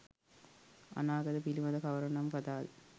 අනාගතය පිළිබඳ කවර නම් කතා ද?